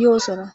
yoosona.